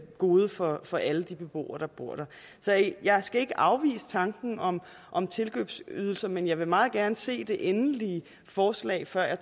gode for for alle de beboere der bor der jeg skal ikke afvise tanken om om tilkøbsydelser men jeg vil meget gerne se det endelige forslag før jeg